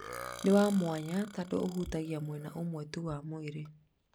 Nĩ wa mwanya tondũ ũhutagia mwena ũmwe tu wa mwĩrĩ.